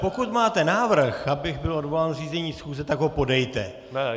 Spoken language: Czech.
Pokud máte návrh, abych byl odvolán z řízení schůze, tak ho podejte.